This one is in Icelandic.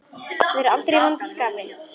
Vera aldrei í vondu skapi.